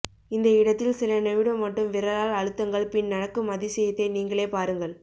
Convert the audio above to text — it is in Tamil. இந்த இடத்தில் சில நிமிடம் மட்டும் விரலால் அழுத்துங்கள் பின் நடக்கும் அதிசயத்தை நீங்களே பாருங்கள்